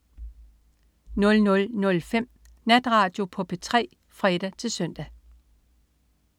00.05 Natradio på P3 (fre-søn)